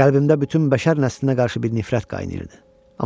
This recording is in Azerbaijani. Qəlbində bütün bəşər nəslinə qarşı bir nifrət qaynayırdı.